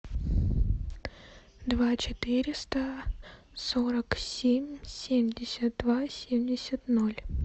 два четыреста сорок семь семьдесят два семьдесят ноль